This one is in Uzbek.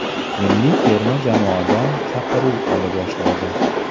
Milliy terma jamoadan chaqiruv ola boshladi.